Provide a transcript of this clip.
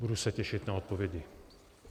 Budu se těšit na odpovědi.